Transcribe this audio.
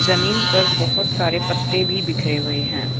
जमीन पर बहुत सारे पत्ते भी बिखरे हुए हैं।